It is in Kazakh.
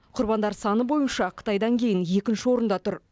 құрбандар саны бойынша қытайдан кейін екінші орында тұр